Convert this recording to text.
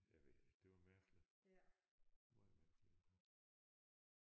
Jeg ved ikke det var mærkeligt. Meget mærkeligt